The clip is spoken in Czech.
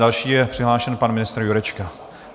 Další je přihlášen pan ministr Jurečka.